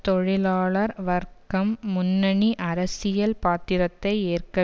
தொழிலாளர் வர்க்கம் முன்னணி அரசியல் பாத்திரத்தை ஏற்க